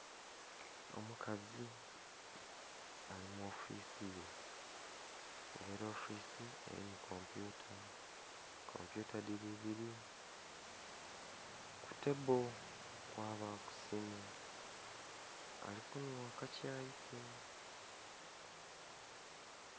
Omukazi ali mu ofisi ye nga ela ofisi elimu kompyuta, kompyuta dhili ibiri, ku tebbo kwabaku simu. Ali kunhwa akakyayi ke.